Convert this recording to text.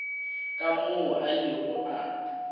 ka moo a ilego a